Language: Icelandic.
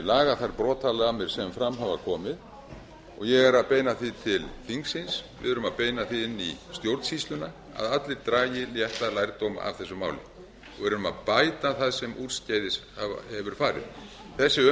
laga þær brotalamir sem fram hafa komið og ég er að beina því til þingsins við erum að beina því inn í stjórnsýsluna að allir dragi réttan lærdóm af þessu máli og erum að bæta það sem úrskeiðis hefur farið þessi